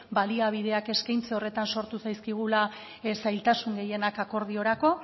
baliabideak eskaintze horretan sortu zaizkigula zailtasun gehienak akordiorako